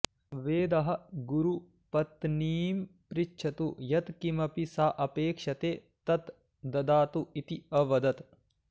वेदः गुरुप्तनीं पृच्छतु यत्किमपि सा अपेक्षते तत् ददातु इति अवदत्